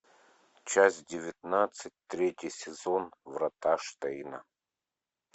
часть девятнадцать третий сезон врата штейна